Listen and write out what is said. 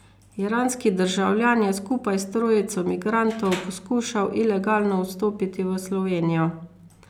Iranski državljan je skupaj s trojico migrantov poskušal ilegalno vstopiti v Slovenijo.